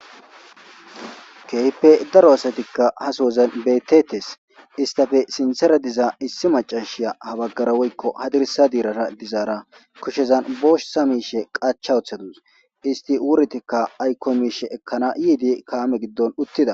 Keehippe daro asatika ha sohozan beetetes istappe sinthera diza issi maccashiya ha baggara woykko hadirssa dirara dizara kushezan bootha miishe qachcha wothadus isti wuretika ayko miishe ekana yiidi kaame gidon uttida.